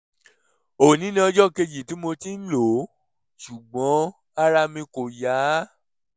òní ni ọjọ́ kejì tí mo ti ń lò ó ṣùgbọ́n ara mi kò yá